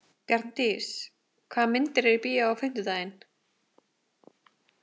Bjarndís, hvaða myndir eru í bíó á fimmtudaginn?